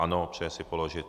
Ano, přeje si položit.